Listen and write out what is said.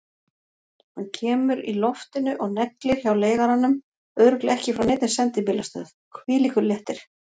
Hann kemur í loftinu og neglir hjá leigaranum, örugglega ekki frá neinni sendibílastöð, hvílíkur léttir!